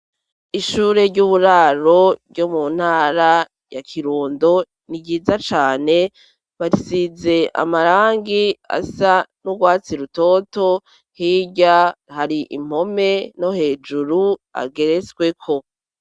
Ishure ry'uburaro ryo mu ntara ya Kirundo ni ryiza cane barisize amarangi asa n'urwatsi rutoto hirya hari impome no hejuru ageretsweko.